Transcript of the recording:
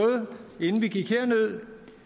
inden vi gik herned